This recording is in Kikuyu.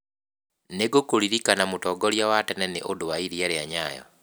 Nĩ ngũkũririkana mũtongoria wa tene nĩ ũndũ wa iria rĩa Nyayo.